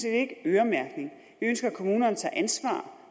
en øremærkning vi ønsker at kommunerne tager ansvar